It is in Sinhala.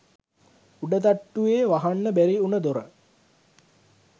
උඩ තට්ටුවේ වහන්න බැරි වුණ දොර